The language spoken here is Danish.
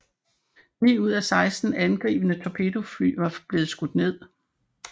Ni af de 16 angribende torpedofly var blevet skudt ned